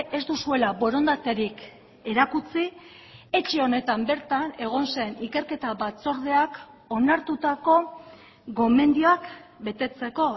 ez duzuela borondaterik erakutsi etxe honetan bertan egon zen ikerketa batzordeak onartutako gomendioak betetzeko